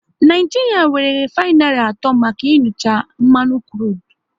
Naijiria nwéré refainary atọ maka inucha mmanụ krudu